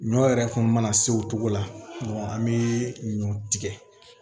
Ɲɔ yɛrɛ kun mana se o togo la an be ɲɔ tigɛ